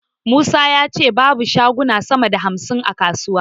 Musa ya ce babu shaguna sama da hamsin a kasuwarsa.